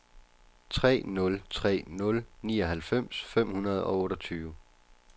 tre nul tre nul nioghalvfems fem hundrede og otteogtyve